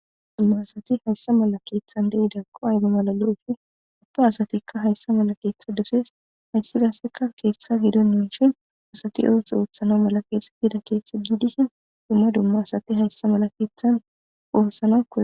Hayissa maala kethani deyiddako ayi mala lo'idakko ubba assatikka hayissa malla ketha dossesi hayisa mala kethayi duma dumaassati hayissa mala kethani othana mala koyosona.